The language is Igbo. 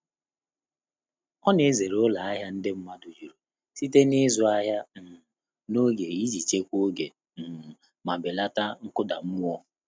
Ọ́ nà-èzéré ụ́lọ́ áhị́à ndị́ mmàdụ̀ jùrù sìté n’ị́zụ́ áhị́à um n’ógè ìjí chèkwáá ògé um mà bèlàtà nkụ́dà mmụ́ọ́.